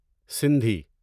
Sindhi